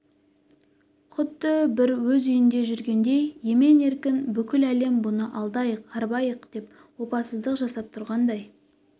құдды бір өз үйінде жүргендей емен-еркін бүкіл әлем бұны алдайық арбайық деп опасыздық жасап тұрғандай